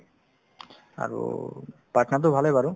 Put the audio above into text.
আৰু পাটনাতো ভালে বাৰু